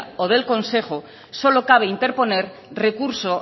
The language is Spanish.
o del consejo solo cabe interponer recurso